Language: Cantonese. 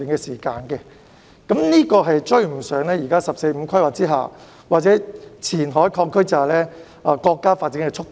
此進度將難以追上現時"十四五"規劃或前海擴區之下的國家發展速度。